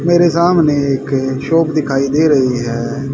मेरे सामने एक शॉप दिखाई दे रहीं हैं।